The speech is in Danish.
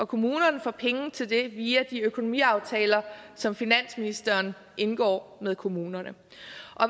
kommunerne får penge til det via de økonomiaftaler som finansministeren indgår med kommunerne